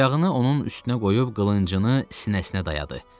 Ayağını onun üstünə qoyub qılıncını sinəsinə dayadı.